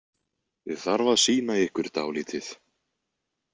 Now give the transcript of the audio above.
Ég þarf að sýna ykkur dálítið